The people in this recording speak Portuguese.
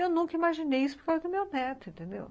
Eu nunca imaginei isso por causa do meu neto, entendeu?